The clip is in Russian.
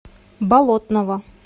болотного